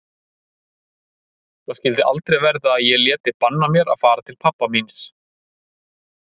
Það skyldi aldrei verða að ég léti banna mér að fara til pabba míns.